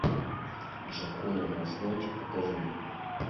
джоконда на асфальте покажи мне